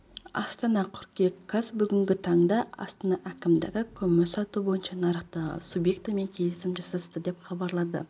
астана қыркүйек қаз бүгінгі таңда астана әкімдігі көмір сату бойынша нарықтағы субъектімен келісім жасасты деп хабарлады